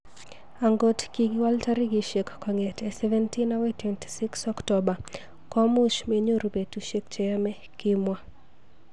"Angot kikiwal tarikishek kong'etei 17 akoi 26 Oktoba komuch menyoru petushek cheyomei", kimwa.